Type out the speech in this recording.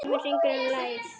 Síminn hringdi um leið.